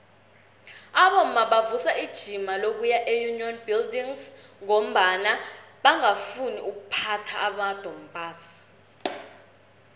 abomma bavusa ijima lokuya eunion buildings ngombana bangafuni ukuphatha amadompass